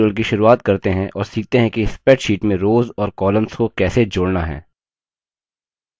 इस tutorial की शुरुआत करते हैं और सीखते हैं कि spreadsheet में रोव्स और columns को कैसे जोड़ना है